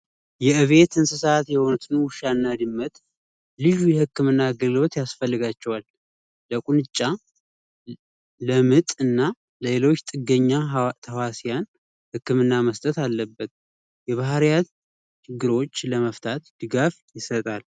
የቤት እንስሳት የሆኑ ውሻና ድመት የህክምና ያስፈልጋቸዋል ለምጥና ሌሎች ትገኛለህ ህክምና መስጠት አለበት የባህሪያት ችግሮች ለመፍታት ድጋፍ ይሰጣል